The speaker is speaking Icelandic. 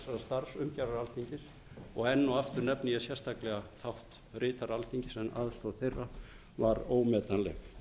þessarar starfsumgjarðar alþingis og enn og aftur nefni ég sérstaklega þátt ritara alþingis en aðstoð þeirra var ómetanleg